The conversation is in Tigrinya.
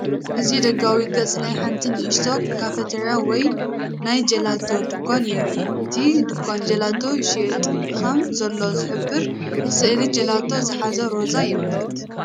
እዚ ደጋዊ ገጽ ናይ ሓንቲ ንእሽቶ ካፊተሪያን ወይ ናይ ጀላቶ ድኳን የርኢ። እቲ ድኳን ጀላቶ ይሸይጥ ከም ዘሎ ዚሕብር ስእሊ ጀላቶ ዝሓዘ ሮዛ የምልክት።